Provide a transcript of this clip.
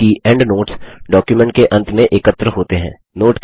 जबकि endnotes document के अंत में एकत्र होते हैं